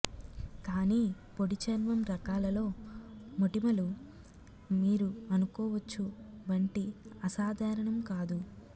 కానీ పొడి చర్మం రకాలలో మోటిమలు మీరు అనుకోవచ్చు వంటి అసాధారణం కాదు